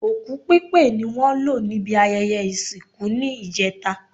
Òkú pípé ni wọ́n lò níbi ayẹyẹ ìsìnkú ní ìjẹta